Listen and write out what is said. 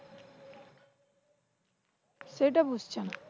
সেটা বুঝছে না।